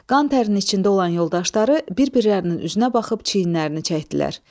Qan tərin içində olan yoldaşları bir-birlərinin üzünə baxıb çiyinlərini çəkdilər.